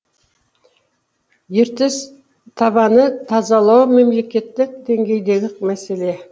ертіс табанын тазалау мемлекеттік деңгейдегі мәселе